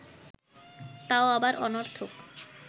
তাও আবার অনর্থক